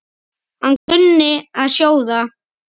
Hann kunni að sjóða.